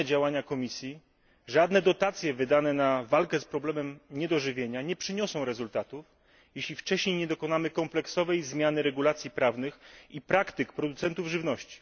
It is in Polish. Żadne działania Komisji, żadne dotacje wydane na walkę z problemem niedożywienia nie przyniosą rezultatu, jeśli wcześniej nie dokonamy kompleksowej zmiany regulacji prawnych i praktyk producentów żywności.